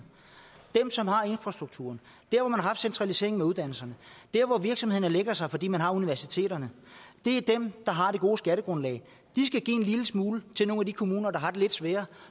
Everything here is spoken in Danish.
dem som har infrastrukturen der hvor man har haft centraliseringen af uddannelserne der hvor virksomhederne lægger sig fordi man har universiteterne det er dem der har det gode skattegrundlag de skal give en lille smule til nogle af de kommuner der har det lidt sværere